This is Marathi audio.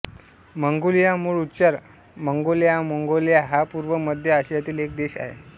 मंगोलिया मूळ उच्चार माँगोल्यामोंगोल्या हा पूर्व व मध्य आशियातील एक देश आहे